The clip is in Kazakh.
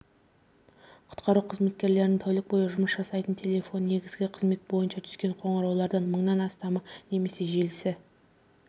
құтқару қызметтерінің тәулік бойы жұмыс жасайтын телефоны негізгі қызмет бойынша түскен қоңыраулардан мыңнан астамы немесе желісі